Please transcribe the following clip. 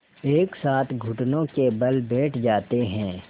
एक साथ घुटनों के बल बैठ जाते हैं